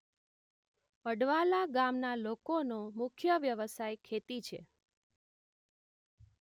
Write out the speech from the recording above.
અડવાલા ગામના લોકોનો મુખ્ય વ્યવસાય ખેતી છે